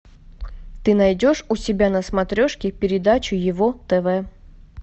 ты найдешь у себя на смотрешке передачу его тв